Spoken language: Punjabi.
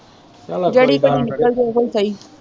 ਚੱਲੇ ਜਿਹੜੀ ਘੜੀ ਨਿਕਲ ਜੇ ਉਹੀ ਸਹੀ।